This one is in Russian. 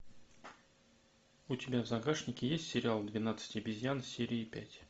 у тебя в загашнике есть сериал двенадцать обезьян серия пять